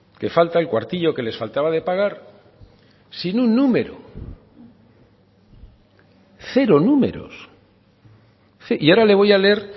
que falta el cuartillo que les faltaba de pagar sin un número cero números y ahora le voy a leer